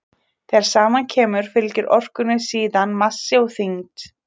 Þegar saman kemur fylgir orkunni síðan massi og þyngd.